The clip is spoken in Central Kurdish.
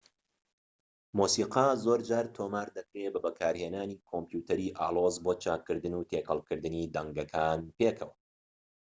مۆسیقا زۆرجار تۆمار دەکرێت بە بەکارهێنانی کۆمپیوتەری ئالۆز بۆ چاککردن و تێکەڵکردنی دەنگەکان پێکەوە